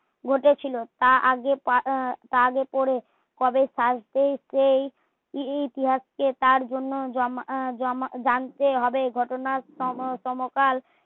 ঘটেছিলো তা আগে আহ তা আগে করে কবে সাজতে সেই ইতিহাস কে তার জন্য উম জানতেই হবে ঘটনার সমকাল